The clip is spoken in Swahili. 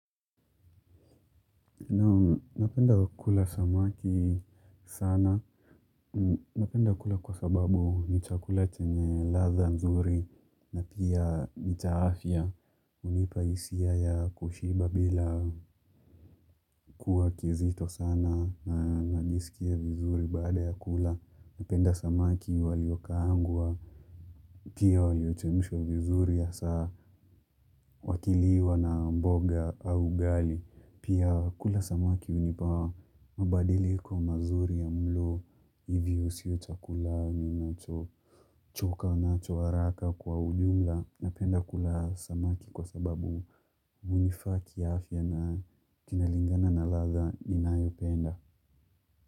Napenda kula samaki sana. Napenda kula kwa sababu ni chakula chenye ladha nzuri na pia ni cha afya hunipa hisia ya kushiba bila kuwa kizito sana na najisikia vizuri baada ya kula. Napenda samaki waliokaangwa, pia wayochemshwa vizuri ya saa, wakiliwa na mboga au ugali. Pia kula samaki hunipa, mabadiliko mazuri ya mlo, hivyo siyo chakula ninacho, choka, nacho, haraka kwa ujumla. Napenda kula samaki kwa sababu hunifaa kiafya na kinalingana na ladha ninayopenda.